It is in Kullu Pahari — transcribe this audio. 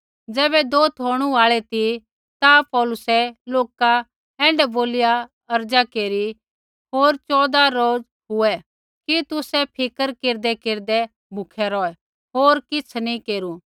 ज़ैबै दोत होणू आल़ी ती ता पौलुसै लोका ऐण्ढै बोलिया अर्ज़ा केरी औज़ चौदह रोज़ हुऐ कि तुसै फिक्र केरदैकेरदै भूखै रौहै होर किछ़ नी केरू